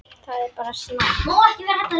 Það er bara snakk.